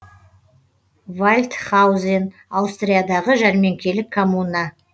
вальдхаузен аустриядағы жәрменкелік коммуна